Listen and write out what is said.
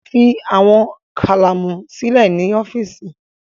Fi awọn kalamu silẹ ni ọfiisi